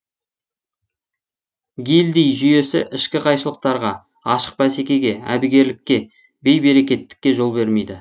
гильдий жүйесі ішкі қайшылықтарға ашық бәсекеге әбігерлікке бей берекеттікке жол бермейді